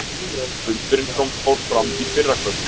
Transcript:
Fundurinn fór fram í fyrrakvöld